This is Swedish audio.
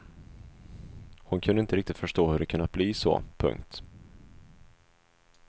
Hon kunde inte riktigt förstå hur det kunnat bli så. punkt